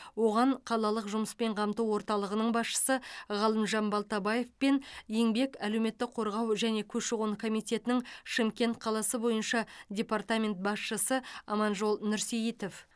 оған қалалық жұмыспен қамту орталығының басшысы ғалымжан балтабаев пен еңбек әлеуметтік қорғау және көші қон комитетінің шымкент қаласы бойынша департамент басшысы аманжол нұрсейітов